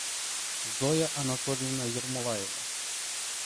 зоя анатольевна ермолаева